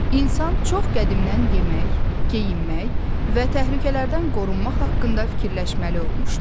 İnsan çox qədimdən yemək, geyinmək və təhlükələrdən qorunmaq haqqında düşünməli olmuşdu.